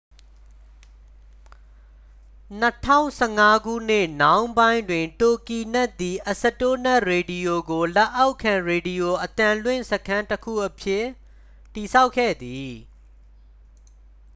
2015 ခုနှစ်နှောင်းပိုင်းတွင် တိုဂီနက် သည် အစတိုနက်ရေဒီယို ကို လက်အောက်ခံ ရေဒီရိုအသံလွင့်စခန်းတစ်ခု အဖြစ် တည်ထောင်ခဲ့သည်